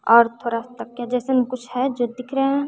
और थोड़ा तकिया जैसन कुछ है जो दिख रहे है।